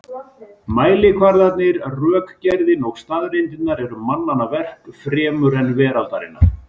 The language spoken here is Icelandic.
Mælikvarðarnir, rökgerðin og staðreyndirnar eru mannanna verk fremur en veraldarinnar.